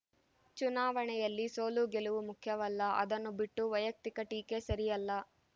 ಚುನಾವಣೆಯಲ್ಲಿ ಸೋಲುಗೆಲುವು ಮುಖ್ಯವಲ್ಲ ಅದನ್ನು ಬಿಟ್ಟು ವೈಯಕ್ತಿಕ ಟೀಕೆ ಸರಿಯಲ್ಲ